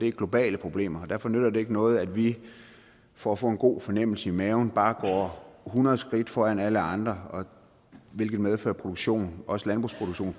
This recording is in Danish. er globale problemer og derfor nytter det ikke noget at vi for at få en god fornemmelse i maven bare går hundrede skridt foran alle andre hvilket medfører at produktion også landbrugsproduktion